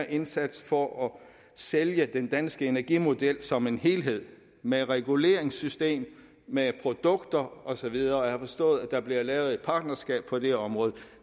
indsats for at sælge den danske energimodel som en helhed med reguleringssystem med produkter og så videre jeg har forstået at der bliver lavet et partnerskab på det område